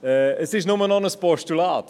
Der Vorstoss ist nur noch ein Postulat;